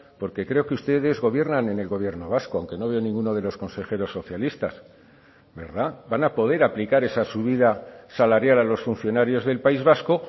porque creo que ustedes gobiernan en el gobierno vasco aunque no veo ninguno de los consejeros socialistas verdad van a poder aplicar esa subida salarial a los funcionarios del país vasco